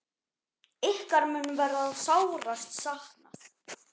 Ykkar mun verða sárast saknað.